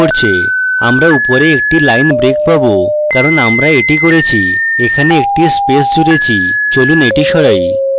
আমরা উপরে একটি line break পাবো কারণ আমরা এটি করেছিএখানে একটি space জুড়েছি চলুন এটি সরাই